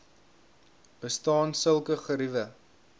bestaan sulke geriewe